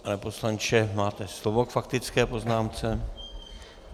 Pane poslanče, máte slovo k faktické poznámce.